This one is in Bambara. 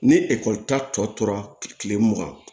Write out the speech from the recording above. Ni ekɔli ta tɔ tora kile mugan